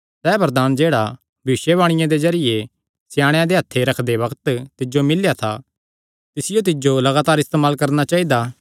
सैह़ वरदान जेह्ड़ा भविष्यवाणी दे जरिये स्याणेयां दे हत्थ रखदे बग्त तिज्जो मिल्लेया था तिसियो तिज्जो लगातार इस्तेमाल करणा चाइदा